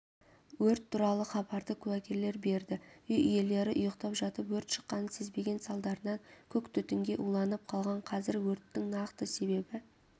өрт туралы хабарды куәгерлер берді үй иелері ұйықтап жатып өрт шыққанын сезбеген салдарынан көк түтінге уланып қалған қазір өрттің нақты себебі